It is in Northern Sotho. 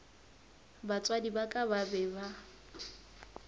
batswadi ba ka ba be